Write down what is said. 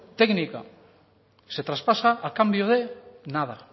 técnica se traspasa a cambio de nada